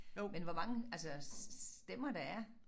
Men hvor mange altså stemmer der er